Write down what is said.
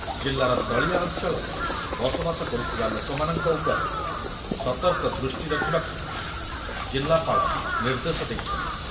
ଜିଲ୍ଲାର ତଳିଆ ଅଞ୍ଚଳରେ ବସବାସ କରୁଥିବା ଲୋକମାନଙ୍କ ଉପରେ ସତର୍କ ଦୃଷ୍ଟି ରଖୁବାକୁ ଜିଲ୍ଲାପାଳ ନିର୍ଦ୍ଦେଶ ଦେଇଛନ୍ତି ।